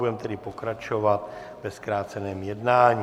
Budeme tedy pokračovat ve zkráceném jednání.